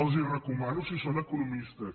els les recomano si són economistes